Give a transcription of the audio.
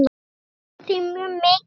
Við söknum þín mjög mikið.